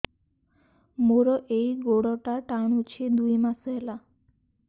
ମୋର ଏଇ ଗୋଡ଼ଟା ଟାଣୁଛି ଦୁଇ ମାସ ହେଲା